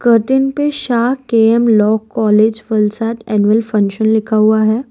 पे Shah K M law college Fulsad annual function लिखा हुआ है।